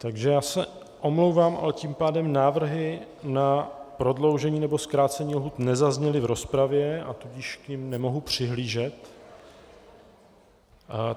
Takže já se omlouvám, ale tím pádem návrhy na prodloužení nebo zkrácení lhůt nezazněly v rozpravě, a tudíž k nim nemohu přihlížet.